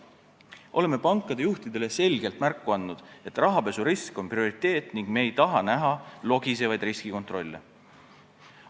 Oleme pankade juhtidele selgelt märku andnud, et rahapesurisk on prioriteet ja me ei taha näha logisevaid riskikontrolle.